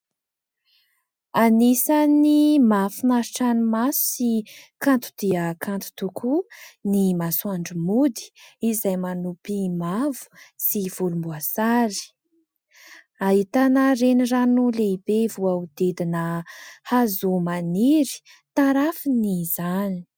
Anisany mahafinaritra ny maso sy kanto dia kanto tokoa ny masoandro mody, izay manopy mavo sy volomboasary ; ahitana renirano lehibe voahodidina hazo maniry tarafiny izany.